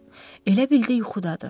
Elə bildi yuxudadır.